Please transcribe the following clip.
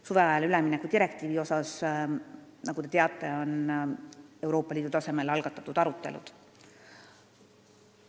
Suveajale ülemineku direktiivi üle, nagu te teate, on Euroopa Liidu tasemel algatatud arutelud.